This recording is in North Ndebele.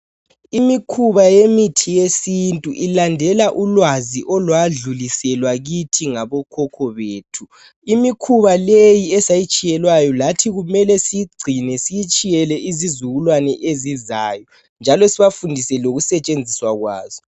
Imikhuba yemithi yesintu ilandela ulwazi olwadluliselwa kithi ngabokhokho bethu. Imikhuba leyi esayitshiyelwayo lathi kumele siyigcine siyitshiyele izizukulwana ezizayo njalo sibafundise lokusetshenziswa kwayo.